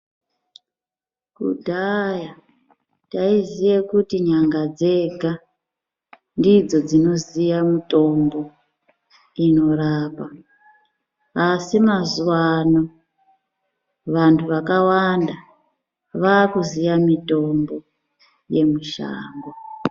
Kudhaya taiziye kuti n'anga dzega ndidzo dzinoziya mitombo inorapa. Asi mazuva ano vantu vakawanda vakuziya mitombo yemushango.